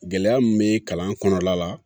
Gɛlɛya min bɛ kalan kɔnɔna la